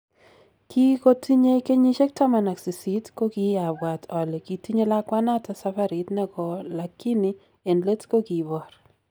Kigotinye genyisiek taman ak sisit kokiiabwaat ole kitinye lakwanoton safarit negoo lagini en leet kokiboor